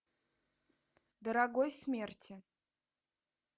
дорогой смерти